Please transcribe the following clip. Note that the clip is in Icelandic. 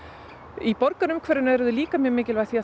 í borgarumhverfinu eru þau líka mjög mikilvæg því að